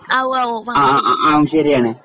ആ ഉവ്വാ ഓ